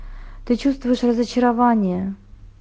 ты чувствуешь разочарование